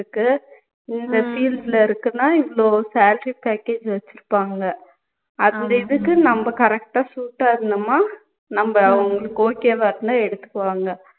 இருக்கு இந்த field ல இருக்குன்னா இவ்வளோ salary package வச்சுருப்பங்க அந்த இதுக்கு நம்ம correct ஆ suit ஆ இருந்தோம்னா நம்ப அவங்களுக்கு okay வா இருந்தா எடுத்துக்குவாங்க